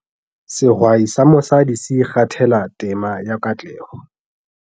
Sehwai sa mosadi se ikgathela tema ya katleho